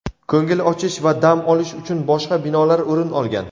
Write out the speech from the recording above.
ko‘ngil ochish va dam olish uchun boshqa binolar o‘rin olgan.